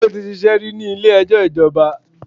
Kúnlé ti ṣíṣe rí ní ilé ẹjọ́ ìjọba.